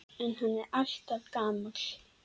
En hann er alltaf gamall.